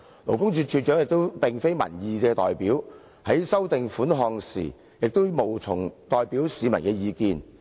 勞工處處長亦並非民意代表，在修訂款項時，無從代表市民的意見。